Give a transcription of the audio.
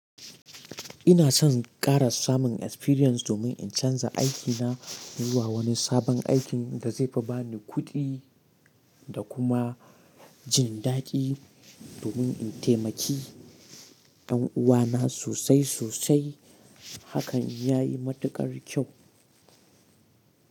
Ina son ƙara samun experience domin in canza aikina zuwa wani sabon aikin da zai ba ni kuɗi da kuma jin daɗi domin in taimaki yan uwana sosai sosai. Hakan ya yi matuƙar kyau.